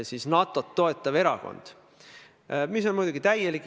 Aga mina tõstatasin hoopis teise teema.